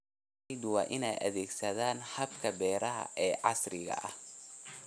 Beeraleydu waa inay adeegsadaan hababka beeraha ee casriga ah.